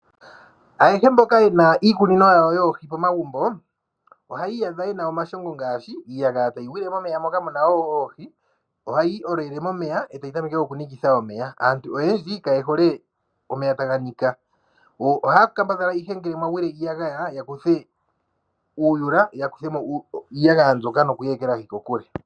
Ayahe mboka ye na iikunino yawo yoohi pomagumbo, ohaya iyadha ye na omashongo ngaashi iiyagaya tayi gwile momeya moka mu na oohi, ohayi olele momeya e tayi tameke okunikitha omeya. Aantu oyendji kaye hole omeya taga nika. Ohaya kambadhala ihe ngele mwa gwile iiyagaya ya kuthe uuyula, ya kutha mo iiyagaya mbyoka nokuyi ekelahi kokule.